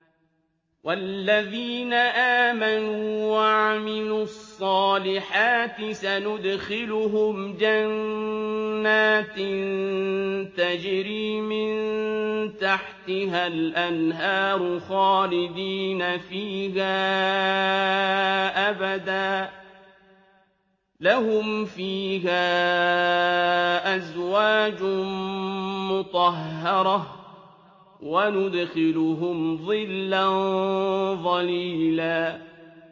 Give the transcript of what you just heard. وَالَّذِينَ آمَنُوا وَعَمِلُوا الصَّالِحَاتِ سَنُدْخِلُهُمْ جَنَّاتٍ تَجْرِي مِن تَحْتِهَا الْأَنْهَارُ خَالِدِينَ فِيهَا أَبَدًا ۖ لَّهُمْ فِيهَا أَزْوَاجٌ مُّطَهَّرَةٌ ۖ وَنُدْخِلُهُمْ ظِلًّا ظَلِيلًا